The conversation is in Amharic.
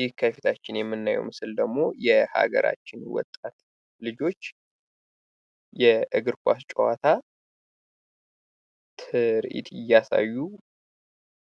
ይህ ከፊታችን የምናየው ምስል ደግሞ የሀገራችን ወጣት ልጆች የእግር ኳስ ጨዋታ ትርዒት እያሳዩ